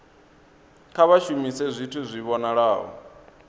kha vha shumise zwithu zwi vhonalaho